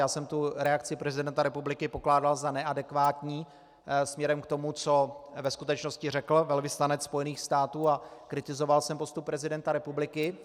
Já jsem tu reakci prezidenta republiky pokládal za neadekvátní směrem k tomu, co ve skutečnosti řekl velvyslanec Spojených států, a kritizoval jsem postup prezidenta republiky.